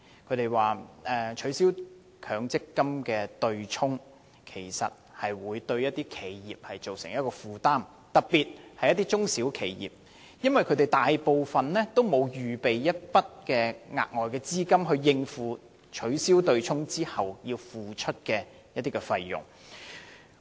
他們表示取消強積金的對沖機制，會對一些企業造成負擔，特別是中小型企業，因為這些企業大部分沒有撥備額外資金，以應付取消對沖機制後要付出的費用。